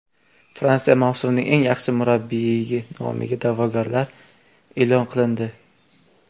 Fransiyada mavsumning eng yaxshi murabbiyi nomiga da’vogarlar e’lon qilindi.